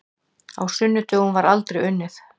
Á sunnudögum var aldrei unnið.